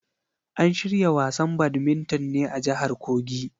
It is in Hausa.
An shirya wasan badminton ne a jahar kogi.